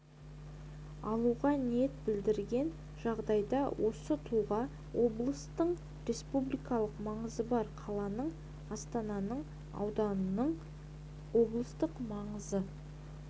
алуға ниет білдірген жағдайда осы тұлға облыстың республикалық маңызы бар қаланың астананың ауданның облыстық маңызы